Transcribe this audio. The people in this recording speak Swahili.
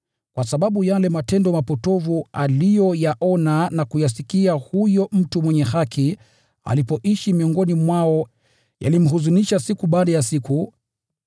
(kwa sababu yale matendo mapotovu aliyoyaona na kuyasikia huyo mtu mwenye haki alipoishi miongoni mwao yalimhuzunisha siku baada ya siku):